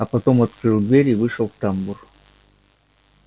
а потом открыл дверь и вышел в тамбур